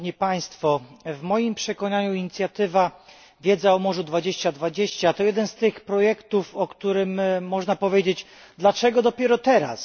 W moim przekonaniu inicjatywa Wiedza o morzu 2020 to jeden z tych projektów, o którym można powiedzieć dlaczego dopiero teraz?.